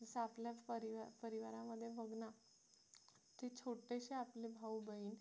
जसं आपल्याच परिवारामध्ये बघ ना किती छोटेसे आपले भाऊ-बहीण